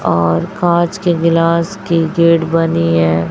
और कांच के गिलास की गेट बनी है।